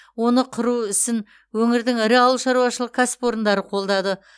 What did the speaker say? оны құру ісін өңірдің ірі ауылшаруашылық кәсіпорындары қолдады